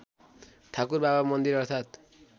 ठाकुरबाबा मन्दिर अर्थात्